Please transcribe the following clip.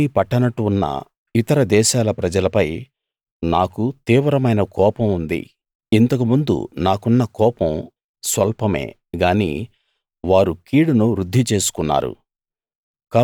ఏమీ పట్టనట్టు ఉన్న ఇతర దేశాల ప్రజలపై నాకు తీవ్రమైన కోపం ఉంది ఇంతకు ముందు నాకున్న కోపం స్వల్పమే గానీ వారు కీడును వృద్ది చేసుకున్నారు